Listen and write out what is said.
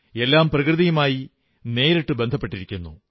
എല്ലാം പ്രകൃതിയുമായി നേരിട്ടു ബന്ധപ്പെട്ടിരിക്കുന്നു